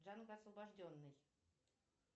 джанго освобожденный